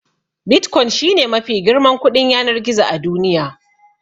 Bitcoin shi ne mafi girman kuɗin yanar gizo a duniya.